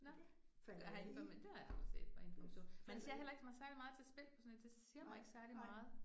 Nåh, gør har, det har jeg aldrig set på Information. Man ser heller ikke så særlig meget til spil på sådan en, det siger mig ikke særlig meget